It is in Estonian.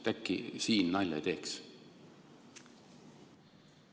Äkki siin nalja ei teeks?